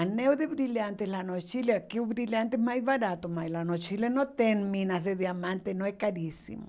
Anel de brilhante lá no Chile, aqui o brilhante é mais barato, mas lá no Chile não tem minas de diamante, não, é caríssimo.